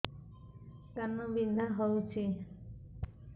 କାନ ବିନ୍ଧା ହଉଛି